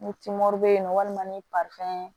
Ni bɛ yen nɔ walima ni